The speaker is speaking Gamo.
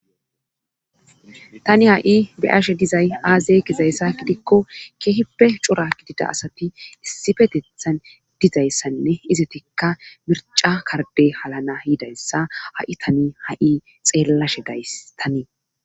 Tani ha'i beyashe dizay aazey gizayssa gidikko keehippe cura gidida asati issi petethan dizayssanne izetekka mirca karde halana yiidayssa ha'i tani ha'i xeellashe gaystanii.